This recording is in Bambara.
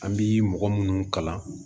An bi mɔgɔ minnu kalan